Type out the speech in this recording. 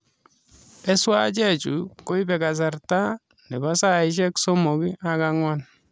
Eswachek chuu koibee kasarta nebaa saiashek somok ak agwan